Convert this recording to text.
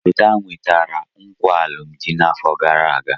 Lota nwetara nkwa alụmdi n'afọ gara aga.